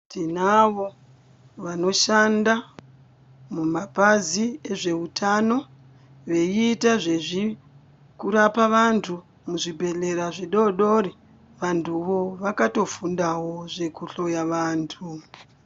Tinavo vanoshanda mumapazi ezveutano veiita zvekurapa vantu muzvibhehlera zvidodori vantuvo vakatofundawo zvekuhloya vantu.